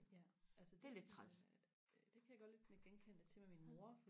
ja altså det det kan jeg godt lidt nikke genkendende til med min mor